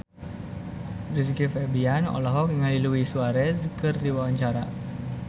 Rizky Febian olohok ningali Luis Suarez keur diwawancara